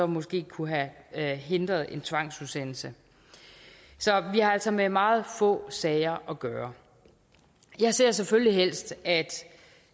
måske kunne have hindret en tvangsudsendelse så vi har altså med meget få sager at gøre jeg ser selvfølgelig helst at